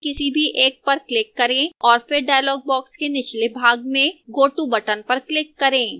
किसी भी एक पर click करें और फिर dialog box के निचले भाग में go to button पर click करें